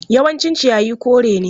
Yawancin ciyayi kore ne.